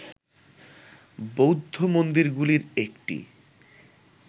বৌদ্ধ মন্দিরগুলির একটি